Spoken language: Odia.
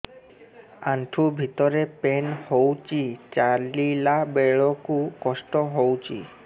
ଆଣ୍ଠୁ ଭିତରେ ପେନ୍ ହଉଚି ଚାଲିଲା ବେଳକୁ କଷ୍ଟ ହଉଚି